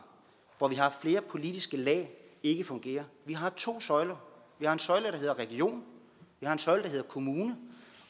hvor vi har flere politiske lag ikke fungerer vi har to søjler vi har en søjle der hedder region vi har en søjle der hedder kommune